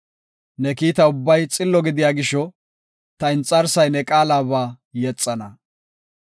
Ne kiita ubbay xillo gidiya gisho, ta inxarsay ne qaalaba yexana.